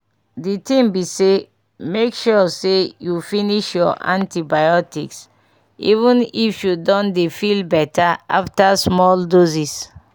di tin be say make sure say you finish your antibiotics even if you don dey feel better after small doses.